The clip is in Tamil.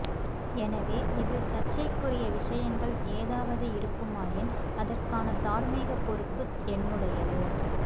எனவே இதில் சர்ச்சைக்குரிய விடயங்கள் ஏதாவது இருக்குமாயின் அதற்கான தார்மீகப் பொறுப்பு என்னுடையது